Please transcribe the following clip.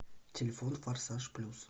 телефон форсаж плюс